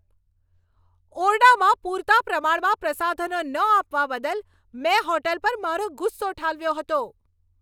ઓરડામાં પૂરતા પ્રમાણમાં પ્રસાધનો ન આપવા બદલ મેં હોટલ પર મારો ગુસ્સો ઠાલવ્યો હતો.